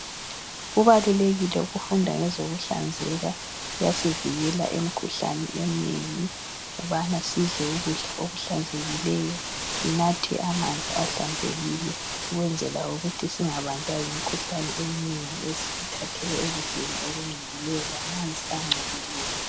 Kubalulekile ukufunda ngezokuhlanzeka kuyasivikela imikhuhlane eminengi ukubana sidle ukudla okuhlanzekileyo sinathe amanzi ahlanzekile ukwenzela ukuthi singabanjwa yimikhuhlane eminengi ethathelwa ekudleni okungcolileyo lamanzi angcolileyo.